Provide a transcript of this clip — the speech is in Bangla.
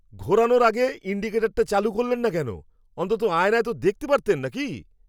ঘোরানোর আগে ইনডিকেটরটা চালু করলেন না কেন? অন্তত আয়নায় তো দেখতে পারতেন নাকি!